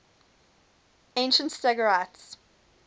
ancient stagirites